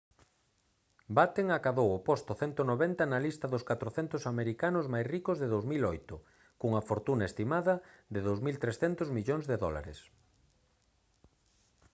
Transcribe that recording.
batten acadou o posto 190 na lista dos 400 americanos máis ricos de 2008 cunha fortuna estimada de 2300 millóns de dólares